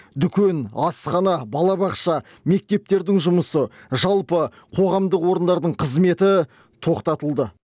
дүкен асхана балабақша мектептердің жұмысы жалпы қоғамдық орындардың қызметі тоқтатылды